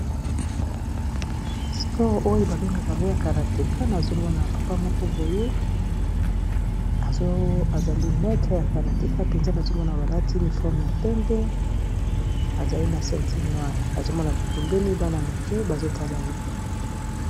Sport oyo babengaka ngo ya karateka nazomona papa moko boye ezali metre ya karateka mpenza nazomona balati ni forme ya pempe ezali na centile noil nazomona pepembeni bana moke bazotala ye